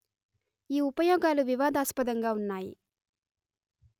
ఈ ఉపయోగాలు వివాదస్పదంగా ఉన్నాయి